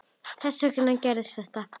Þess vegna gerðist þetta.